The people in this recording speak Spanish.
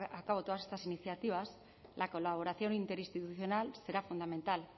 a cabo todas estas iniciativas la colaboración interinstitucional será fundamental